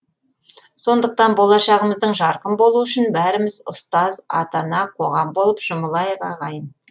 сондықтан болашағымыздың жарқын болуы үшін бәріміз ұстаз ата ана қоғам боп жұмылайық ағайын